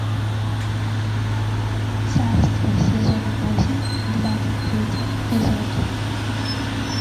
царство сезон восемь двадцать третий эпизод